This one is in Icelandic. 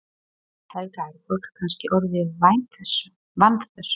Helga: Er fólk kannski orðið vant þessu?